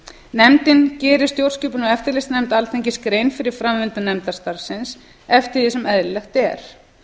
nefndin gerir stjórnskipunar og eftirlitsnefnd alþingis grein fyrir framvindu nefndarstarfsins eftir því sem eðlilegt er